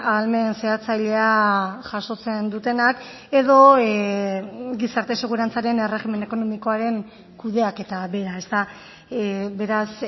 ahalmen zehatzailea jasotzen dutenak edo gizarte segurantzaren erregimen ekonomikoaren kudeaketa bera beraz